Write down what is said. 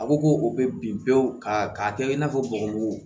A ko ko o bɛ bin pewu ka k'a kɛ i n'a fɔ bɔgɔmugu